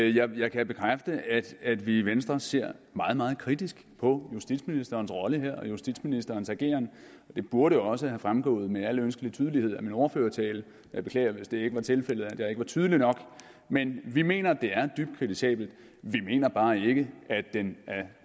jeg kan bekræfte at vi i venstre ser meget meget kritisk på justitsministerens rolle her og justitsministerens ageren det burde også være fremgået med al ønskelig tydelighed af min ordførertale jeg beklager hvis det ikke var tilfældet altså at jeg ikke var tydelig nok men vi mener at det er dybt kritisabelt vi mener bare ikke at den